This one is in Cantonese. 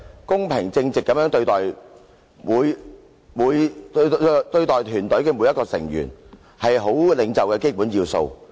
公平正直地對待團隊的每一個成員，是好領袖的基本要素。